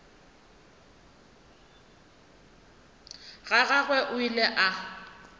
ga gagwe o ile a